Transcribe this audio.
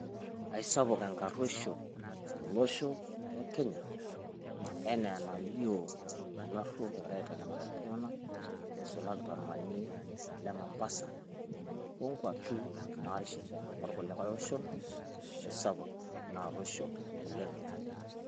Aisapuk enkaruoisho tolosho le Kenya enaa enalio illaruok egira aitanyamal iltung'anak eisulaki tolmanie le Mombasa, o nkuapi naarishita orkulie oshon eisapuk ina arruosho oleng.